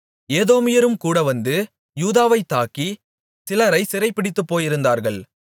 ஏதோமியரும் கூடவந்து யூதாவைத் தாக்கி சிலரை சிறைபிடித்துப்போயிருந்தார்கள்